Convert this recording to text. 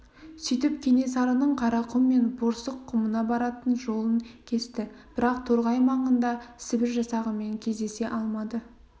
сөйтіп кенесарының қарақұм мен борсық құмына баратын жолын кесті бірақ торғай маңында сібір жасағымен кездесе алмады